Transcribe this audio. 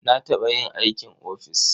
Na taɓa yin aikin ofis.